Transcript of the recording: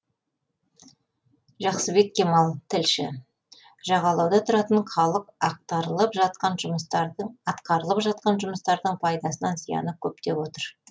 жақсыбек кемал тілші жағалауда тұратын халық атқарылып жатқан жұмыстардың пайдасынан зияны көп деп отыр